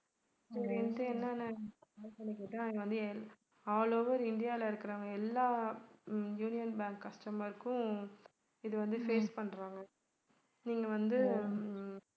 சரின்னிட்டு என்னன்னு call பண்ணி கேட்டா அது வந்து எல்~ all over இந்தியால இருக்கிறவங்க எல்லா ஹம் யூனியன் bank customer க்கும் இது வந்து face பண்றாங்க நீங்க வந்து உம்